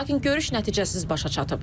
Lakin görüş nəticəsiz başa çatıb.